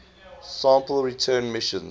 sample return missions